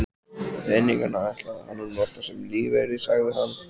Peningana ætlaði hann að nota sem lífeyri, sagði hann.